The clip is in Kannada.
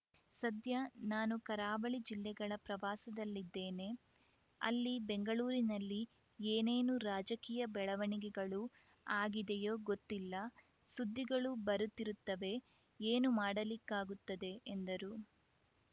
ಸದ್ಯ ನಾನು ಕರಾವಳಿ ಜಿಲ್ಲೆಗಳ ಪ್ರವಾಸದಲ್ಲಿದ್ದೇನೆ ಅಲ್ಲಿ ಬೆಂಗಳೂರಿನಲ್ಲಿ ಏನೇನು ರಾಜಕೀಯ ಬೆಳವಣಿಗೆಗಳು ಆಗಿದೆಯೋ ಗೊತ್ತಿಲ್ಲ ಸುದ್ದಿಗಳು ಬರುತ್ತಿರುತ್ತವೆ ಏನು ಮಾಡಲಿಕ್ಕಾಗುತ್ತದೆ ಎಂದರು